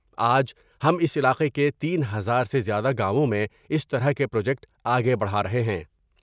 آج ہم اس علاقے کے تین ہزار سے زیادہ گاؤں میں اس طرح کے پروجیکٹ آگے بڑھار ہے